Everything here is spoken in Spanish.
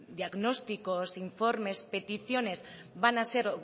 de diagnósticos informes peticiones van a ser